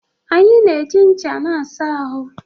Anyị na-eji ncha na-asa ahụ